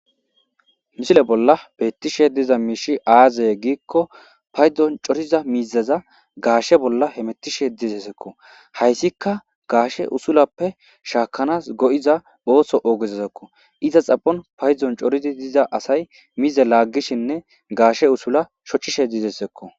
misile bolla bettishe diza miishi aazey giikko paydon coriza miizaza gaashe bolla he metishe dizessekko hayssika gaashe usulappe shaakanas go7iza ooso oogezezekko iza xapon payzon coridi diza asay mize laaggishinne gaashe usula shocishe dizessekko